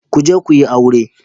Ku je ku yi aure